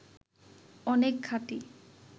অনেক খাঁটি